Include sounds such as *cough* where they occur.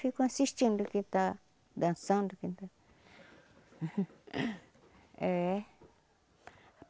Ficam assistindo o que está dançando entendeu *laughs* éh.